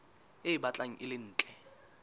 e batlang e le ntle